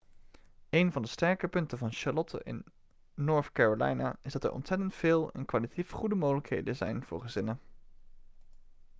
eén van de sterke punten van charlotte in north carolina is dat er ontzettend veel en kwalitatief goede mogelijkheden zijn voor gezinnen